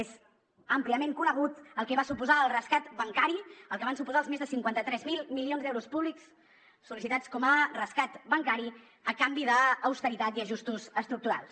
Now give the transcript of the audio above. és àmpliament conegut el que va suposar el rescat bancari el que van suposar els més de cinquanta tres mil milions d’euros públics sol·licitats com a rescat bancari a canvi d’austeritat i ajustos estructurals